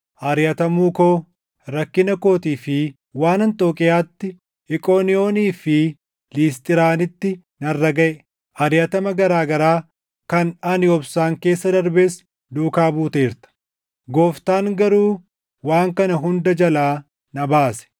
ariʼatamuu koo, rakkina kootii fi waan Anxookiiyaatti, Iqooniyoonii fi Lisxiraanitti narra gaʼe, ariʼatama garaa garaa kan ani obsaan keessa darbes duukaa buuteerta. Gooftaan garuu waan kana hunda jalaa na baase.